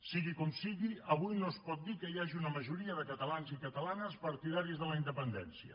sigui com sigui avui no es pot dir que hi hagi una majoria de catalans i catalanes partidaris de la independència